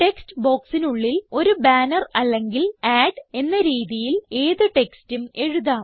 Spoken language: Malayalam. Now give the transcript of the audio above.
ടെക്സ്റ്റ് ബോക്സിനുള്ളിൽ ഒരു ബാനർ അല്ലെങ്കിൽ അഡ് എന്ന രീതിയിൽ ഏത് ടെക്സ്റ്റും എഴുതാം